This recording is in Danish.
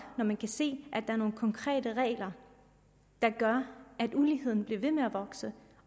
når vi kan se at der er nogle konkrete regler der gør at uligheden bliver ved med at vokse